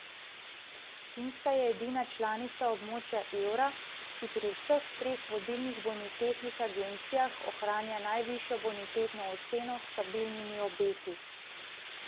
Finska je edina članica območja evra, ki pri vseh treh vodilnih bonitetnih agencijah ohranja najvišjo bonitetno oceno s stabilnimi obeti.